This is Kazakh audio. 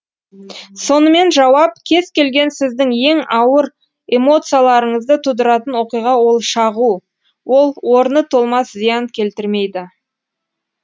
сонымен жауап кез келген сіздің ең ауыр эмоцияларыңызды тудыратын оқиға ол шағу ол орны толмас зиян келтірмейді